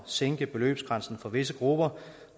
sænke beløbsgrænsen for visse grupper